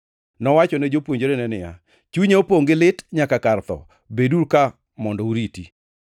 Nowachone jopuonjrene niya, “Chunya opongʼ gi lit nyaka kar tho. Beduru ka mondo uriti.”